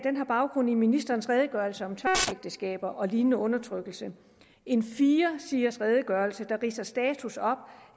har baggrund i ministerens redegørelse om tvangsægteskaber og lignende undertrykkelse en firesiders redegørelse der ridser status op